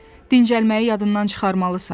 Dincəlməyi yadından çıxarmalısan.